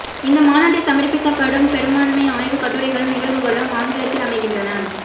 இந்த மாநாட்டில் சமர்ப்பிக்கப்படும் பெரும்பான்மைக் ஆய்வுக் கட்டுரைகளும் நிகழ்வுகளும் ஆங்கிலத்தில் அமைகின்றன